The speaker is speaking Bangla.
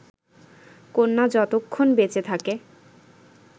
কন্যা যতক্ষণ বেঁচে থাকে